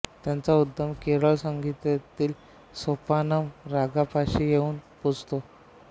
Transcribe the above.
त्यांचा उद्गम केरळी संगीतातील सोपानम रागापाशी येऊन पोचतो